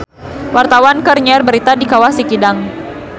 Wartawan keur nyiar berita di Kawah Sikidang